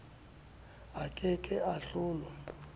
a ke ke a hlola